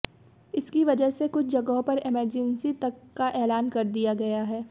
इसकी वजह से कुछ जगहों पर इमरजेंसी तक का ऐलान कर दिया गया है